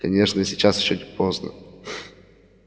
конечно сейчас ещё не поздно